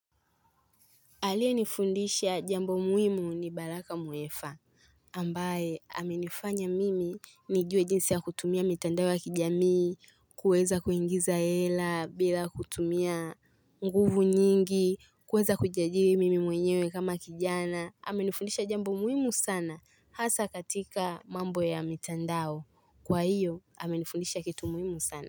Aliyenifundisha jambo muhimu ni baraka muefa, ambaye amenifanya mimi nijue jinsi ya kutumia mitandao ya kijamii, kuweza kuingiza hela, bila kutumia nguvu nyingi, kuweza kujiajiri mimi mwenyewe kama kijana, amenifundisha jambo muhimu sana, hasa katika mambo ya mitandao, kwa hiyo amenifundisha kitu muhimu sana.